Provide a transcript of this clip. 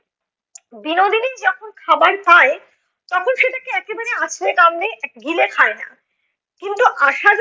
বিনোদিনী যখন খাবার খায়, তখন সেটাকে একেবারে আছড়ে কামড়ে গিলে খায় না। কিন্তু আশা য~